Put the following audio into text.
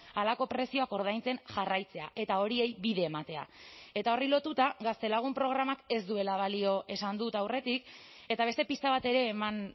halako prezioak ordaintzen jarraitzea eta horiei bide ematea eta horri lotuta gaztelagun programak ez duela balio esan dut aurretik eta beste pista bat ere eman